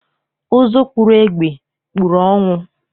Ụzụ kpụrụ egbe, kpụrụ ọnwụ